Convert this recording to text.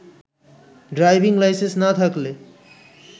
driving licence না থাকলে